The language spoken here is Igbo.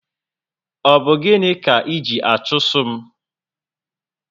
Ọ bụ gịnị kà iji achụso m?